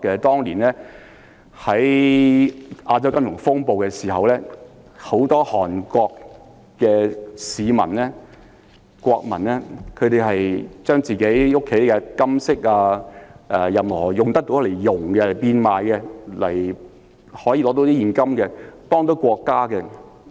當年在亞洲金融風暴時，很多韓國國民將自己家中的金飾或任何可以溶掉的物品變賣，為了換取現金來幫助國家。